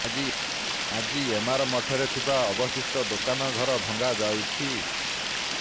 ଆଜି ଏମାର ମଠରେ ଥିବା ଅବଶିଷ୍ଟ ଦୋକାନ ଘର ଭଙ୍ଗାଯାଉଛି